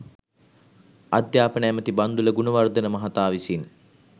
අධ්‍යාපන ඇමැති බන්දුල ගුණවර්ධන මහතා විසින්